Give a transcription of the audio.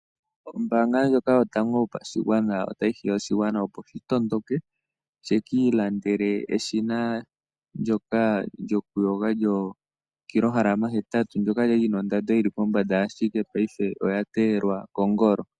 Ombaanga ndjoka yotango yopashigwana ota yi hiya oshigwana opo shi tondoke, shi ki ilandele eshina ndjoka lyo kilohalama hetatu, ndjoka lya lina ondando yi li pombanda, ihe paife oya teyelwa kongolo.